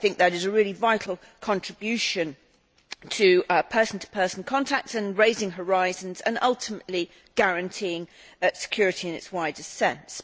I think this is a really vital contribution to person to person contacts and to raising horizons and, ultimately, to guaranteeing security in its wider sense.